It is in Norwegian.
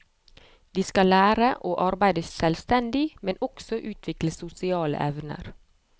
De skal lære å arbeide selvstendig, men også utvikle sosiale evner.